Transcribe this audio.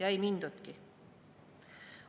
Ei mindudki.